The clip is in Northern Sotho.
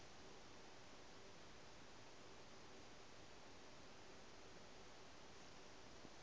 a re ga ba di